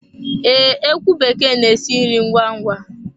Ee, ekwu bekee n'esi nri ngwá ngwá